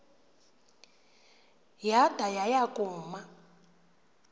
yada yaya kuma